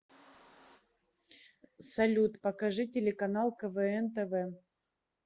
салют покажи телеканал квн тв